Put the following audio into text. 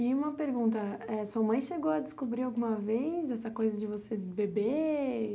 E uma pergunta, eh sua mãe chegou a descobrir alguma vez essa coisa de você beber?